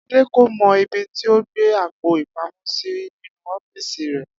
Adé kò mo̩ ibi tí ó gbé àpò-ìpamó̩ sí nínú ó̩fíìsì rè̩